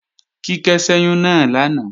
Kíkẹ́ ṣẹ́yún náà lánàá